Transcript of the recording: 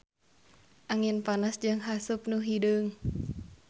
Angin panas jeung haseup nu hideung.